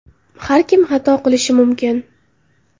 Har kim xato qilishi mumkin.